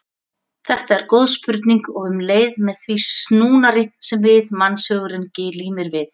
Þetta er góð spurning og um leið með þeim snúnari sem mannshugurinn glímir við.